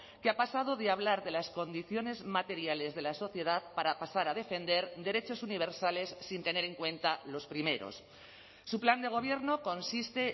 que ha pasado de hablar de las condiciones materiales de la sociedad para pasar a defender derechos universales sin tener en cuenta los primeros su plan de gobierno consiste